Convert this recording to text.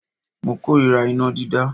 Mo kórira iná dídá.